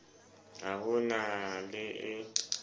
ha ho na le e